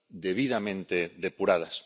debidamente depuradas.